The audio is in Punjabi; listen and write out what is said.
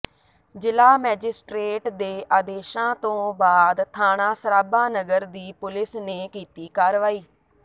ਜ਼ਿਲ੍ਹਾ ਮੈਜਿਸਟ੍ਰੇਟ ਦੇ ਆਦੇਸ਼ਾਂ ਤੋਂ ਬਾਅਦ ਥਾਣਾ ਸਰਾਭਾ ਨਗਰ ਦੀ ਪੁਲਸ ਨੇ ਕੀਤੀ ਕਾਰਵਾਈ